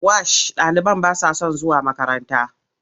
Wash ɗaliban ba sa son zuwa makaranta.